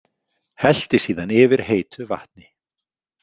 Hellti síðan yfir heitu vatni.